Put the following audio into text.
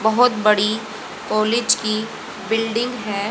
बहुत बड़ी कॉलेज की बिल्डिंग है।